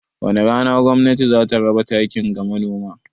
Wani rana gwamnatin za ta raba takin ga Manoma?